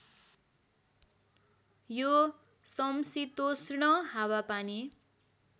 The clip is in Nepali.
यो समशीतोष्ण हावापानी